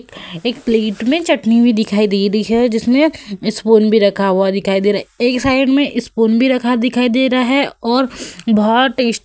एक प्लेट में चटनी भी दिखाई दे रही है जिसमें स्पून भी रखा हुआ दिखाई दे रहा है। एक साइड में स्पून भी रखा दिखाई दे रहा है और बोहोत टेस --